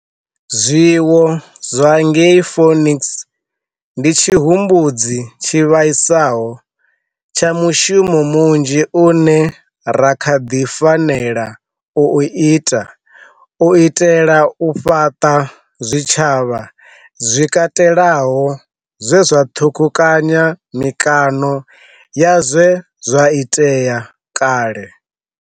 Zwiwo zwa ngei Phoenix ndi tshihumbudzi tshi vhaisaho tsha mushumo munzhi une ra kha ḓi fanela u u ita u itela u fhaṱa zwitshavha zwi katelaho zwe zwa ṱhukhukanya mikano ya zwe zwa itea kale.